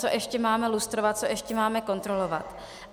Co ještě máme lustrovat, co ještě máme kontrolovat.